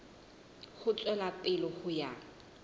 ho tswela pele ho ya